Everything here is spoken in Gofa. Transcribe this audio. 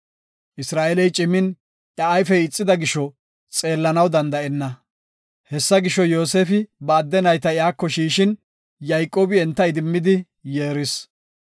Isra7eeley cimin iya ayfey ixida gisho, xeellanaw danda7enna. Hessa gisho, Yoosefi ba adde nayta iyako shiishin, Yayqoobi enta idimmidi yeeris.